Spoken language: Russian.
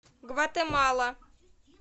гватемала